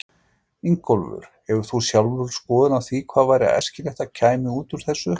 Ingólfur: Hefur þú sjálfur skoðun á því hvað væri æskilegt að kæmi út úr þessu?